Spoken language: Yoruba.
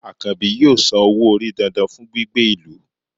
Akanbi yóò sán ọwọ́-orí dándán fún gbígbé ilù